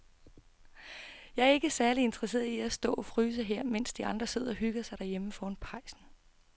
Jeg er ikke særlig interesseret i at stå og fryse her, mens de andre sidder og hygger sig derhjemme foran pejsen.